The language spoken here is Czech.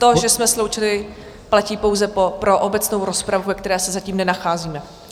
To, že jsme sloučili, platí pouze pro obecnou rozpravu, ve které se zatím nenacházíme.